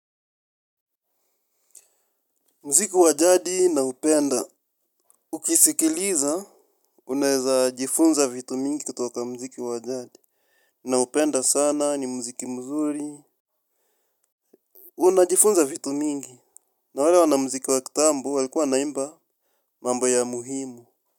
Mziki wajadi na upenda, ukisikiliza, unaeza jifunza vitu mingi kutoka mziki wajadi, na upenda sana ni mziki mzuri. Una jifunza vitu mingi, na wale wana mziki wakitambo walikuwa naimba mambo ya muhimu.